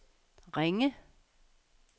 Ringe